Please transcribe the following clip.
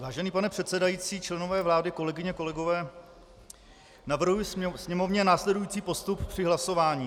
Vážený pane předsedající, členové vlády, kolegyně, kolegové, navrhuji Sněmovně následující postup při hlasování.